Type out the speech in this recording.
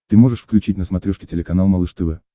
ты можешь включить на смотрешке телеканал малыш тв